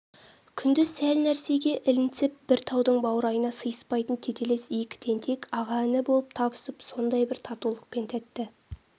күндіз сәл нәрсеге ілінсіп бір таудың бауырайына сыйыспайтын тетелес екі тентек аға-іні болып табысып сондай бір татулықпен тәтті